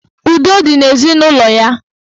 Udo dị n'ezinụlọ ya.